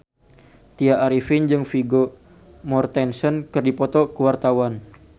Tya Arifin jeung Vigo Mortensen keur dipoto ku wartawan